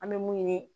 An bɛ mun ɲini